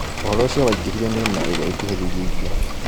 Ũhoro ũcio waingĩhĩire mĩena ĩrĩa ĩkuhĩrĩirie iria